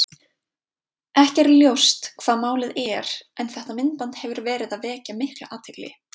Ekki er ljóst hvað málið er en þetta myndband hefur verið að vekja mikla athygli.